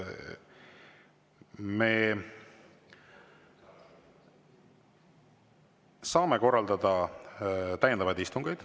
Me saame korraldada täiendavaid istungeid.